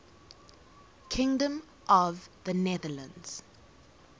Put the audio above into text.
kingdom of the netherlands